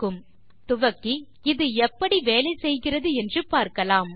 ஆகவே நாம் துவக்கி இது எப்படி வேலை செய்கிறது என்று பார்க்கலாம்